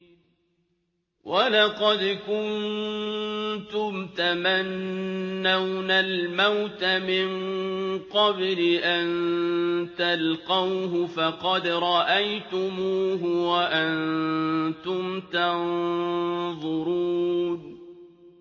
وَلَقَدْ كُنتُمْ تَمَنَّوْنَ الْمَوْتَ مِن قَبْلِ أَن تَلْقَوْهُ فَقَدْ رَأَيْتُمُوهُ وَأَنتُمْ تَنظُرُونَ